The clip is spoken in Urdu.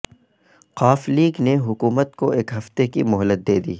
ق لیگ نے حکومت کو ایک ہفتے کی مہلت دے دی